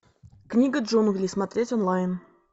книга джунглей смотреть онлайн